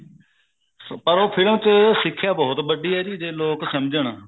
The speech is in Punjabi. ਪਰ ਉਹ ਫਿਲ ਚ ਸਿੱਖਿਆ ਬਹੁਤ ਵੱਡੀ ਹੈ ਜੀ ਜੇ ਲੋਕ ਸਮਝਣ